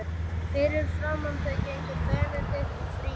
Fyrir framan þau gengu Benedikt og Frímann.